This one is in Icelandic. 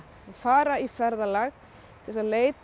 fara í ferðalag til þess að leita